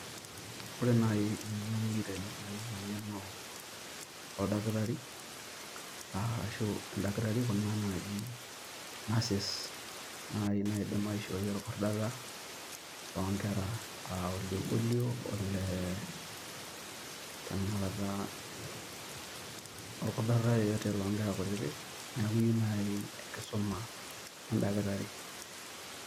Ore naaji eng`eno niyieu tene naa iyieu eng`eno oldakitari arashu en`dakitari kuna naaji nurses naaji naidim aishooi olkordata loo nkera aa ole polio ole tenakata olkordata yeyote loo nkera kutitik. Niaku iyieu naaji enkisuma en`dakitari.